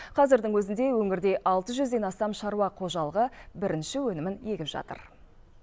қазірдің өзінде өңірде алты жүзден астам шаруа қожалығы бірінші өнімін егіп жатыр